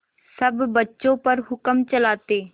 सब बच्चों पर हुक्म चलाते